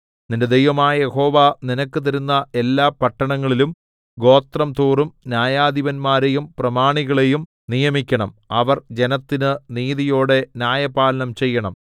നിന്റെ ദൈവമായ യഹോവ നിനക്ക് തരുന്ന എല്ലാ പട്ടണങ്ങളിലും ഗോത്രംതോറും ന്യായാധിപതിമാരെയും പ്രമാണികളെയും നിയമിക്കണം അവർ ജനത്തിന് നീതിയോടെ ന്യായപാലനം ചെയ്യണം